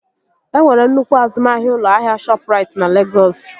E nwere nnukwu azụmahịa ụlọ ahịa Shọpụrait na Legọs